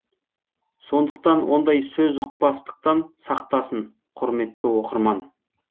сондықтан ондай сөзұқпастықтан сақтасын құрметті оқырман